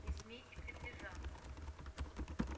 не смейте приближаться